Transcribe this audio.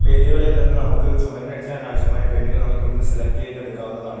പെയിന്റുകളിൽ നിന്നും നമുക്ക് ചുമരിന് അടിച്ചാൻ ആവശ്യമായ പെയിന്റുകൾ നമുക്ക് ഇവിടുന്ന് സെലക്ട് ചെയ്ത് എടുക്കാവുന്നതാണ്.